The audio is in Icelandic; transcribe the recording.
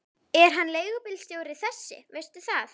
Er hann leigubílstjóri þessi, veistu það?